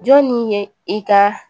Jɔnni ye i ka